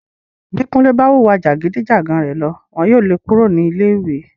Bí Kúnlé bá wu ìwà jàgídí-jàgan rẹ̀ lọ, wọn yóò le kúrò ní ilé ìwé.